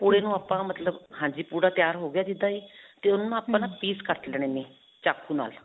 ਓਹ ਪੂੜੇ ਨੂੰ ਆਪਾਂ ਮਤਲਬ. ਹਾਂਜੀ, ਪੂੜਾ ਤਿਆਰ ਹੋ ਗਿਆ ਜਿੱਦਾਂ ਹੀ ਤੇ ਉਹਨੂੰ ਆਪਾਂ piece ਕੱਟ ਲੈਣੇ ਨੇ ਚਾਕੂ ਨਾਲ.